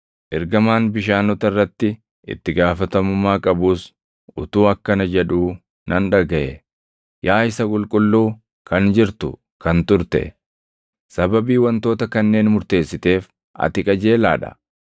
Ergamaan bishaanota irratti itti gaafatamummaa qabus utuu akkana jedhuu nan dhagaʼe: “Yaa Isa Qulqulluu, kan jirtu, kan turte, sababii wantoota kanneen murteessiteef, ati qajeelaa dha;